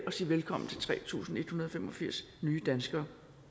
sige velkommen til tre tusind en hundrede og fem og firs nye danskere